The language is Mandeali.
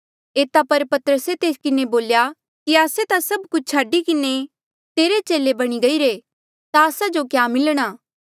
एता पर पतरसे तेस किन्हें बोल्या कि आस्से ता सभ कुछ छाडी किन्हें तेरे चेले बणी गईरे ता आस्सा जो क्या मिलणा